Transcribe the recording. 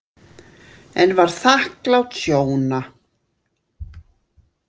En var þakklát Sjóna.